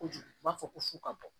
Kojugu u b'a fɔ ko fu ka bɔ